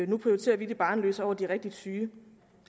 der prioriterer de barnløse over de rigtigt syge